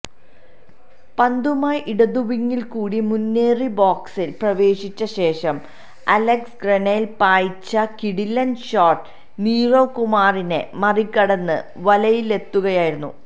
പന്തുമായി ഇടതുവിങില്ക്കൂടി മുന്നേറി ബോക്സില് പ്രവേശിച്ച ശേഷം അലക്സ് ഗ്രാനെല് പായിച്ച കിടിലന് ഷോട്ട് നീരവ് കുമാറിനെ മറികടന്ന് വലയിലെത്തുകയായിരുന്നു